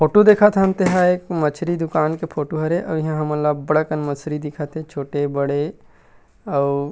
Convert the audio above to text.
photo देखत हन तेहा एक मछरी दुकान के फोटो हरे अउ इहाँ हमन ला अब्बड़ अकन मछरी दिखत हे छोटे बड़े अउ--